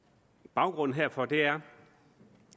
baggrunden herfor er